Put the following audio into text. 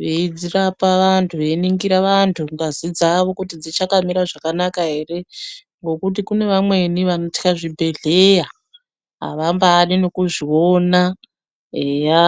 veiraoa vantu veiningura vantu ngazi dzawo dzichakamira zvakanaka ere ngekuti kune mawemi vemuzvibhedhlera avangafi mukuzvigona eya.